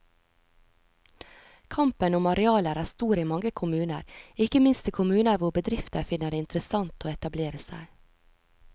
Kampen om arealer er stor i mange kommuner, ikke minst i kommuner hvor bedrifter finner det interessant å etablere seg.